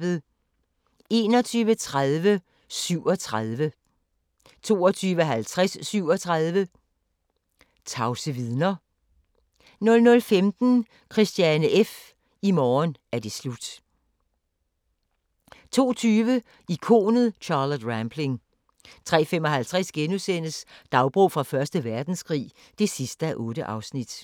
21:30: 37 22:50: 37 tavse vidner 00:15: Christiane F. – i morgen er det slut 02:20: Ikonet Charlotte Rampling 03:55: Dagbog fra Første Verdenskrig (8:8)*